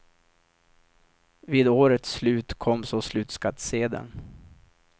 Vid årets slut kom så slutskattsedeln.